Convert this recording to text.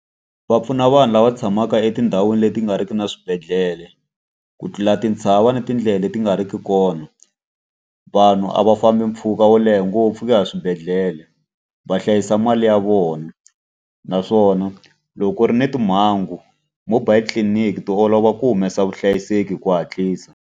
Va pfuna vanhu lava tshamaka etindhawini leti nga riki na swibedhlele ku tlula tintshava na tindlela leti nga riki kona. Vanhu a va fambi mpfhuka wo leha ngopfu ku ya swibedhlele, va hlayisa mali ya vona. Naswona loko ku ri ni timhangu, mobile tliliniki ta olova ku humesa vuhlayiseki hi ku hatlisa.